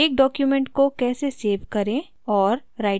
एक document को कैसे सेव करें और